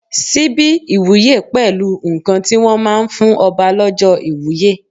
Síbí ìwúye pẹ̀lú nǹkan tí wọ́n máa ń fún Ọba lọ́jọ́ ìwúye.